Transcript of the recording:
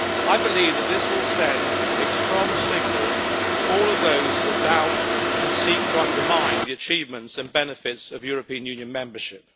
I believe that this will send a strong signal to all of those that doubt and seek to undermine the achievements and benefits of European Union membership.